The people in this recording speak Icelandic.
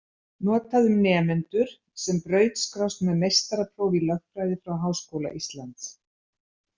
Notað um nemendur sem brautskrást með meistarapróf í lögfræði frá Háskóla Íslands.